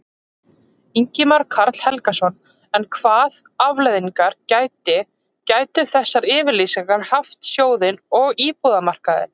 Ingimar Karl Helgason: En hvað afleiðingar gæti, gætu þessar yfirlýsingar haft fyrir sjóðinn og íbúðamarkaðinn?